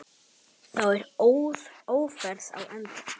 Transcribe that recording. Þá er Ófærð á enda.